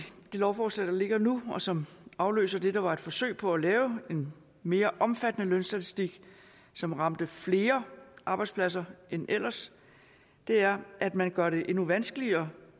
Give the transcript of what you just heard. det lovforslag der ligger nu og som afløser det der var et forsøg på at lave en mere omfattende lønstatistik som ramte flere arbejdspladser end ellers er at man gør det endnu vanskeligere